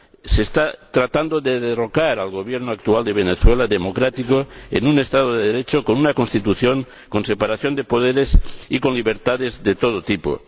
Se está tratando de derrocar al Gobierno actual de Venezuela ―democrático― en un Estado de Derecho, con una constitución con separación de poderes y con libertades de todo tipo.